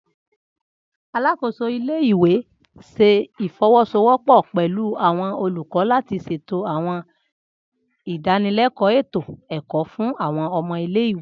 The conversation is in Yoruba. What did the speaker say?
Alakoso ile-iwe ṣe ifowosowopo pẹlu awọn olukọ lati ṣeto àwọn idanileko eto-ẹkọ fun àwọn ọmọ ile-iwe.